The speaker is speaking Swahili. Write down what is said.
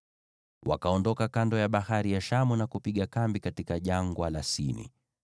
Wakaondoka kando ya Bahari ya Shamu na kupiga kambi katika Jangwa la Sini.